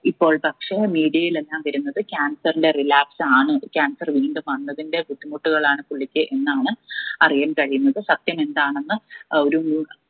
ഇപ്പോൾ പക്ഷെ media യിലെല്ലാം വരുന്നത് cancer ന്റെ relapse ആണ് cancer വീണ്ടും വന്നതിന്റെ ബുദ്ധിമുട്ടുകളാണ് പുള്ളിക്ക് എന്നാണ് അറിയാൻ കഴിയുന്നത് സത്യമെന്താണെന്ന് ഏർ ഒരു